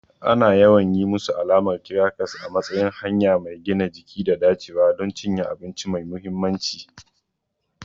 Ana yawan yi musu alamar kirakas a matsayin hanya mai gina jiki da dacewa don cinye abinci mai mahimmanci.